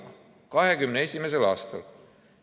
2021. aastal!